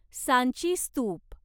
सांची स्तूप